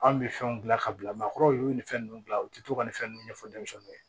An bɛ fɛnw gilan ka bila maakɔrɔw y'u nin fɛn ninnu dilan u tɛ to ka nin fɛn ninnu ɲɛfɔ denmisɛnninw ye